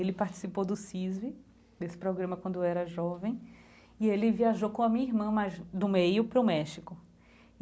Ele participou do CISV, desse programa quando era jovem, e ele viajou com a minha irmã mais, do meio para o México.